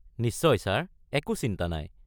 নিশ্চয় ছাৰ, একো চিন্তা নাই।